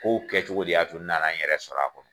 K' kɛ cogo de y'a to n nana n yɛrɛ sɔrɔ a kɔnɔ.